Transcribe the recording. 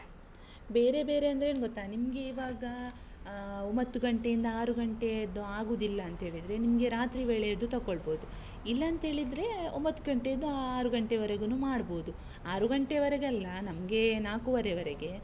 ಬೇರೆ ಬೇರೆ ಅಂದ್ರೆ ಏನ್ ಗೊತ್ತಾ? ನಿಮ್ಗೆ ಈವಾಗ ಆಹ್ ಒಂಬತ್ತು ಗಂಟೆಯಿಂದ ಆರು ಗಂಟೆದ್ದು ಆಗುದಿಲ್ಲ ಅಂತ ಹೇಳಿದ್ರೆ, ನಿಮ್ಗೆ ರಾತ್ರಿ ವೇಳೆಯದ್ದು ತಕೋಳ್ಬೋದು, ಇಲ್ಲಾಂತೇಳಿದ್ರೆ, ಒಂಬತ್ತು ಗಂಟೆಯಿಂದ ಆರು ಗಂಟೆವರೆಗೂನೂ ಮಾಡ್ಬೋದು, ಆರು ಗಂಟೆವರೆಗೆ ಅಲ್ಲ, ನಮ್ಗೆ ನಾಕೂವರೆವರೆಗೆ.